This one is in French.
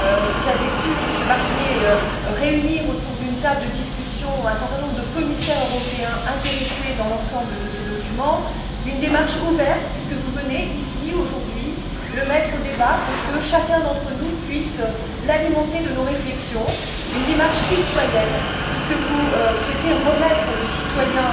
Vous avez pu, Monsieur Barnier, réunir autour d'une table de discussion un certain nombre de commissaires européens intéressés par l'ensemble de ce document une démarche ouverte, puisque vous venez ici aujourd'hui le mettre en débat, pour que chacun d'entre nous puisse l'alimenter de ses réflexions, une démarche citoyenne, puisque vous souhaitez remettre le citoyen